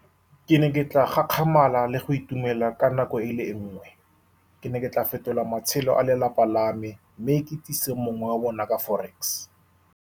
Ke ne ke tla gakgamala le go itumela ka nako e le nngwe. Ke ne ke tla fetola matshelo a lelapa la me, mme ke itsise mongwe wa bona ka forex.